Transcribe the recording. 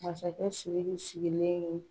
Masakɛ Siriki sigilen ye